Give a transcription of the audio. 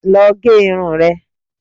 Lọ gẹ irun rẹ!